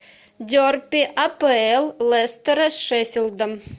дерби апл лестера с шеффилдом